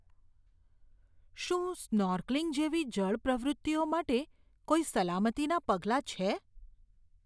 શું સ્નૉર્કલિંગ જેવી જળ પ્રવૃત્તિઓ માટે કોઈ સલામતીનાં પગલાં છે?